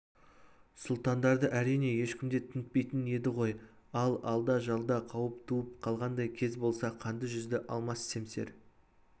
сұлтандарды әрине ешкім де тінтпейтін еді ғой ал алда-жалда қауіп туып қалғандай кез болса қанды жүзді алмас семсер